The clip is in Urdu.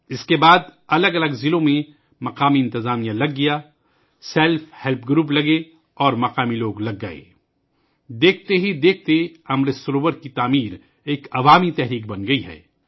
اس کے بعد مختلف اضلاع میں مقامی انتظامیہ جمع ہوئی، رضاکار تنظیمیں جمع ہوئیں اور مقامی لوگ جمع ہوئے دیکھتے ہی دیکھتے امرت سروور کی تعمیر ایک عوامی تحریک بن گئی ہے